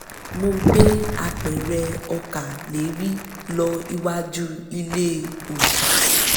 mo gbé apẹ̀rẹ̀ ọkà lérí lọ iwájú ilé òòṣà